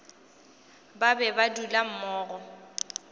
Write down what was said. ba be ba dula mmogo